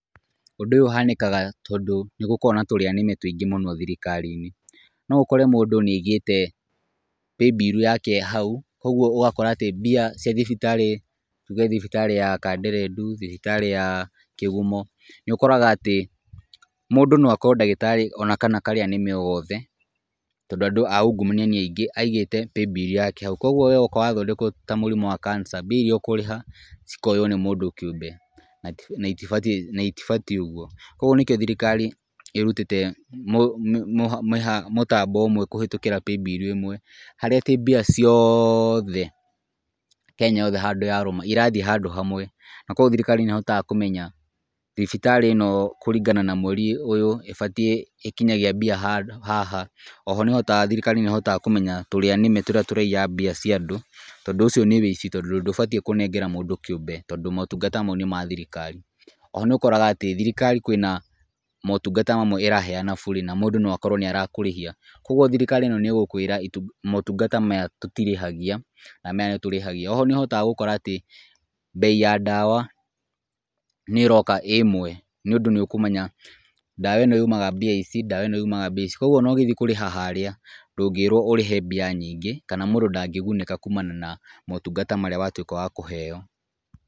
Ũndũ ũyũ ũhanĩkaga tondũ nĩ gũkoragwo na tũrĩa nĩme tũingĩ thirikari-inĩ, no ũkore mũndũ nĩ aigĩte paybill yake hau , kũgwo ũgakora mbia cia thibitari, tuge thibitarĩ ya Kanderendu, thibitarĩ ya Kĩgumo ,ũkoraga atĩ , mũndũ no akorwo ndagĩtarĩ ona kana karĩa nĩme o gothe , tondũ andũ a ungumania nĩ aingĩ aigĩte paybill yake hau, kũgwo we woka wa thondekwo ta mũrimũ wa Cancer, mbia iria ũkũrĩha cikoywo nĩ mũndũ kĩũmbe na itibatiĩ ũgwo, kũgwo nĩkĩo thirikari ĩrutĩte mũtambo ũmwe kũhĩtũkĩra paybill ĩmwe , haria atĩ mbia ciothe Kenya yothe handũ yarũma irathiĩ handũ hamwe, na kũgwo thirikari nĩ ĩhotaga kũmenya thibitarĩ ĩno kũringana na mweri ũyũ ĩbatiĩ ĩkinyagia mbia handũ haha , oho nĩ ĩhotaga thirikari nĩ ĩhotaga kũmenya tũrĩa nĩme tũrĩa tũiyaga mbia cia andũ , tondũ ũcio ũici tondũ ndũbatiĩ kũnengera mũndũ kĩũmbe tondũ motungata mau nĩ ma thirikari , oho nĩ ũkoraga thirikari kwĩna motungata mamwe ĩraheana burĩ na mũndũ no akorwo nĩ arakũrĩhia, kũgwo thirikari ĩno nĩ ĩgũkwĩra motungata maya tũtirĩhagia na maya nĩtũrĩhagia, oho nĩ ũhotaga gũkora atĩ mbei ya ndawa nĩ ĩroka ĩ ĩmwe , nĩ ũndũ nĩ ũkũmenya ndawa ĩno yumaga mbia ici, ndawa ĩno yumaga mbia ici, kũgwo ona ũgĩthiĩ kũrĩha harĩa ndũngĩĩrwo ũrĩhe mbia nyingĩ , kana mũndũ ndangĩgunĩka kumana na motungata marĩa watwĩka wa kũheo .